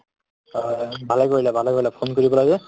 অ, ভালে কৰিলা ভালে কৰিলা phone কৰিব লাগে